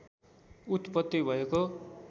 उत्पत्ति भएको